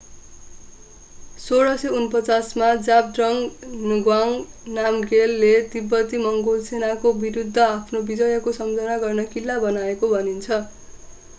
1649 मा zhabdrung ngawang namgyel ले तिब्बती-मङ्गोल सेनाको विरुद्ध आफ्नो विजयको सम्झना गर्न किल्ला बनाएको भनिन्छ